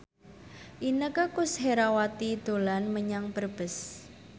Inneke Koesherawati dolan menyang Brebes